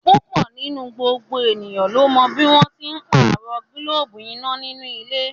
Púpọ̀ nínú gbogbo ènìyàn ló mọ bí wọ́n n ṣe pàrọ̀ gílóbù iná nínú ilé